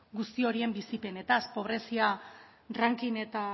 guzti horien bizipenaz pobrezia ranking eta